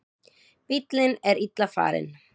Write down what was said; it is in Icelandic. Bíllinn er illa farinn.